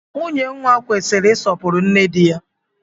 Nwunye nwa kwesịrị isọpuru nne dị ya